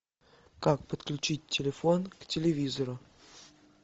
как подключить телефон к телевизору